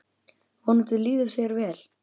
Vonandi líður þér vel.